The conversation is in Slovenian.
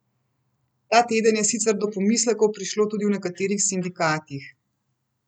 Ta teden je sicer do pomislekov prišlo tudi v nekaterih sindikatih.